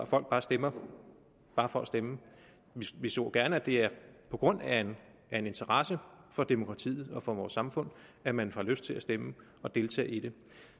folk stemmer bare for at stemme vi så gerne at det er på grund af en en interesse for demokratiet og for vores samfund at man får lyst til at stemme og deltage i det